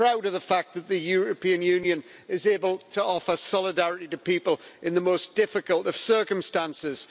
I'm proud of the fact that the European Union is able to offer solidarity to people in the most difficult of circumstances.